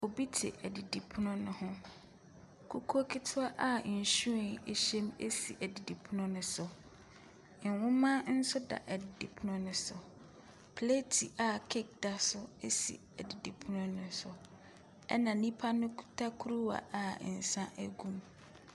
Obi te ɛdidipono ne ho. Kukuo ketewa a nhwiren ehye mu esi ɛdidipono no so, nnwoma nso da ɛdidipono no so. Plate a cake da so esi edidipono no so ɛna nipa no kuta kuruwa a nsa egu mu.